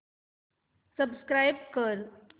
subscribe कर